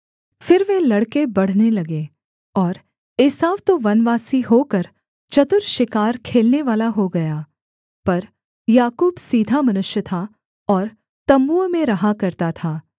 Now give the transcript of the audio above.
फिर वे लड़के बढ़ने लगे और एसाव तो वनवासी होकर चतुर शिकार खेलनेवाला हो गया पर याकूब सीधा मनुष्य था और तम्बुओं में रहा करता था